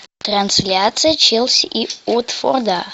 трансляция челси и уотфорда